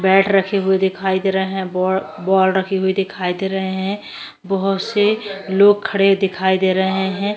Bat रखे हुए दिखाई दे रहे है बव बॉल रखी हुई दिखाई दे रहे है बहुत से लोग खड़े दिखाई दे रहे है।